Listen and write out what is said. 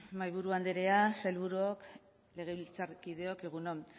mahaiburu andrea sailburuok legebiltzarkideok egun on